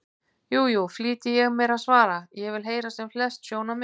Jú, jú, flýti ég mér að svara, ég vil heyra sem flest sjónarmið.